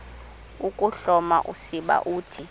ukuhloma usiba uthi